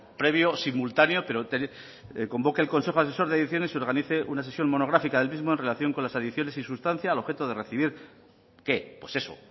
previo simultáneo pero a que convoque al consejo asesor de adicciones organice una sesión monográfica del mismo en relación con las adicciones y sustancia al objeto de recibir qué pues eso